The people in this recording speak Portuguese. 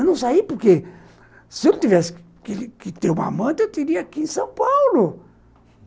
Eu não saí porque se eu tivesse que que ter uma amante, eu teria aqui em São Paulo.